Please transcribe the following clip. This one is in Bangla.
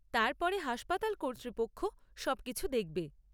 তারপরে হাসপাতাল কর্তৃপক্ষ সবকিছু দেখবে।